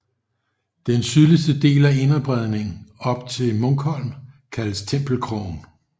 Den sydligste del af Inderbredning op til Munkholm kaldes Tempelkrogen